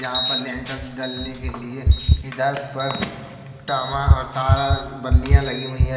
यहां पर लिंटर ढलने के लिए पिलर पर बल्लियां लगी हुई है।